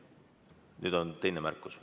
Nüüd on teine märkus.